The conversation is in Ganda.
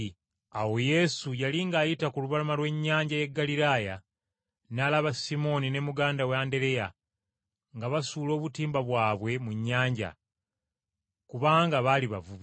Awo Yesu yali ng’ayita ku lubalama lw’ennyanja y’e Ggaliraaya, n’alaba Simooni ne muganda we Andereya nga basuula obutimba bwabwe mu nnyanja; kubanga baali bavubi.